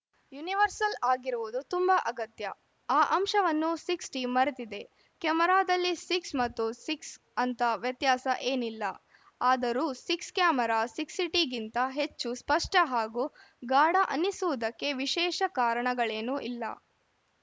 universal ಆಗಿರುವುದು ತುಂಬಾ ಅಗತ್ಯ ಆ ಅಂಶವನ್ನು ಸಿಕ್ಸ್ಟಿ ಮರೆತಿದೆ ಕ್ಯಾಮೆರಾದಲ್ಲಿ ಸಿಕ್ಸ್ ಮತ್ತು ಸಿಕ್ಸ್ ಅಂತ ವ್ಯತ್ಯಾಸ ಏನಿಲ್ಲ ಆದರೂ ಸಿಕ್ಸ್ ಕ್ಯಾಮೆರಾ ಸಿಕ್ಸಿಟಿ ಗಿಂತ ಹೆಚ್ಚು ಸ್ಪಷ್ಟ ಹಾಗೂ ಘಾಡ ಅನ್ನಿಸುವುದಕ್ಕೆ ವಿಶೇಷ ಕಾರಣಗಳೇನೂ ಇಲ್ಲ